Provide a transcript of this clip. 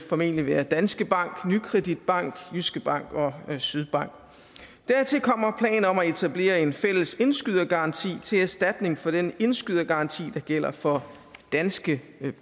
formentlig være danske bank nykredit bank jyske bank og sydbank dertil kommer planer om at etablere en fælles indskydergaranti til erstatning for den indskydergaranti der gælder for danske